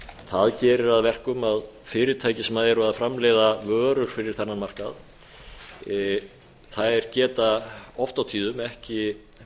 það gerir að verkum að fyrirtæki sem eru að framleiða vörur fyrir þennan markað geta oft á tíðum ekki